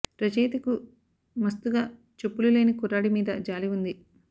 రచయిత కు మస్తుగా చెప్పులు లేని కుర్రాడి మీద జాలి ఉంది